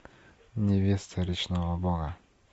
невеста речного бога